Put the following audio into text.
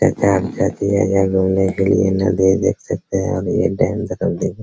घूमने के लिए नदी देख सकते है और डैम